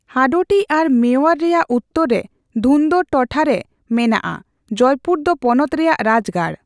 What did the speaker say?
ᱦᱟᱰᱳᱴᱤ ᱟᱨ ᱢᱮᱣᱟᱨ ᱨᱮᱭᱟᱜ ᱩᱛᱛᱚᱨ ᱨᱮ ᱫᱷᱩᱱᱫᱚᱨ ᱴᱚᱴᱷᱟ ᱨᱮ ᱢᱮᱱᱟᱜᱼᱟ, ᱡᱚᱭᱯᱩᱨ ᱫᱚ ᱯᱚᱱᱚᱛ ᱨᱮᱭᱟᱜ ᱨᱟᱡᱽᱜᱟᱲ ᱾